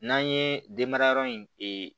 N'an ye den mara yɔrɔ in ee